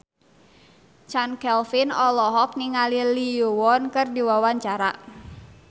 Chand Kelvin olohok ningali Lee Yo Won keur diwawancara